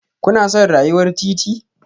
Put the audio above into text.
Kuna son rayuwar titi?